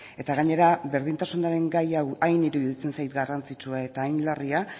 eta gainera berdintasunaren gai hau hain iruditzen zait hain garrantzitsua eta hain larria